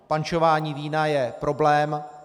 Pančování vína je problém.